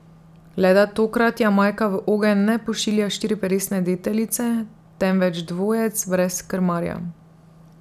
Le da tokrat Jamajka v ogenj ne pošilja štiriperesne deteljice, temveč dvojec brez krmarja.